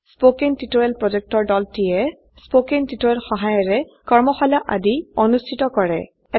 কথন শিক্ষণ প্ৰকল্পৰ দলটিয়ে কথন শিক্ষণ সহায়াৰে কৰ্মশালা আদি অনুষ্ঠিত কৰে